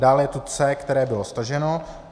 Dále je tu C, které bylo staženo.